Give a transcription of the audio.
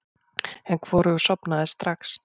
En hvorugur sofnaði strax.